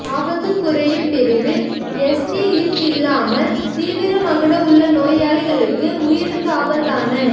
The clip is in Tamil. ஆபத்து குறையும் பிரிவில் எஸ்டி லிப்ட் இல்லாமல் தீவிர மகுட உள்ள நோயாளிகளுக்கு உயிருக்கு ஆபத்தான